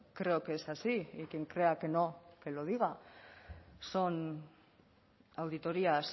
creo que es así y quien crea que no que lo diga son auditorías